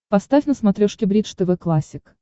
поставь на смотрешке бридж тв классик